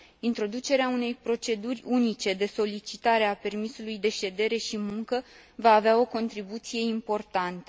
Introducerea unei proceduri unice de solicitare a permisului de ședere și muncă va avea o contribuție importantă.